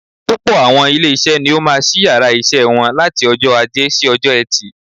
Púpọ̀ àwọn ilé isé ni ó máa sí yàrá isé wọn láti ojó Ajé si ojó Etì